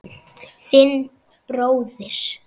Þinn bróðir